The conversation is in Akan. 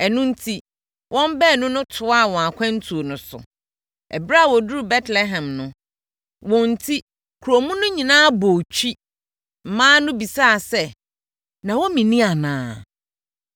Ɛno enti, wɔn baanu no toaa wɔn akwantuo no so. Ɛberɛ a wɔduruu Betlehem no, wɔn enti kuro mu no nyinaa bɔɔ twi. Mmaa no bisaa sɛ, “Naomi nie anaa?”